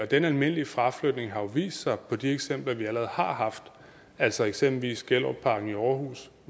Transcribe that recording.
den almindelige fraflytning har jo vist sig i de eksempler vi allerede har haft altså eksempelvis gellerupparken i aarhus